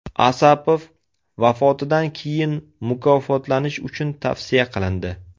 Asapov vafotidan keyin mukofotlanish uchun tavsiya qilindi.